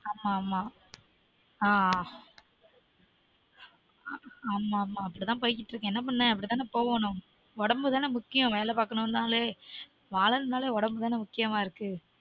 ஆமா ஆமா ஆஹ் அப்டீ தான் போய் கிட்டு இருக்கு அப்டி தான போகனும் உடம்பு தான முக்கியம் வேல பாக்கணுனாலே வாழனும் நாலே உடம்பு தான முக்கியமா இருக்கு